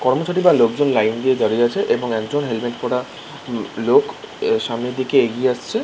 কর্মচারী বা লোকজন লাইন দিয়ে দাঁড়িয়ে আছে এবং একজন হেলমেট পড়া লোক সামনে দিকে এগিয়ে আসছে ।